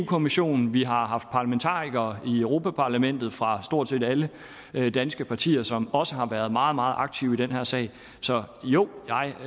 kommissionen vi har haft parlamentarikere i europa parlamentet fra stort set alle danske partier som også har været meget meget aktive i den her sag så jo